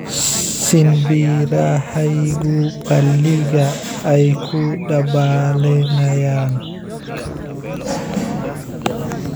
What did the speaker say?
shinbirahaygu balliga ayay ku dabaalanayaan